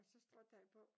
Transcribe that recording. Og så stråtag på